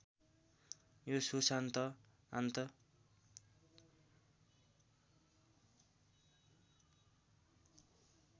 यो सुसान्त आन्त